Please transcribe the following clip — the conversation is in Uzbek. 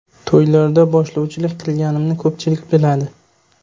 To‘ylarda boshlovchilik qilganimni ko‘pchilik biladi.